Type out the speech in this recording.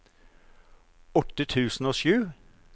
åtte tusen og sju